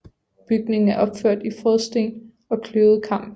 Bygningen er opført i frådsten og kløvet kamp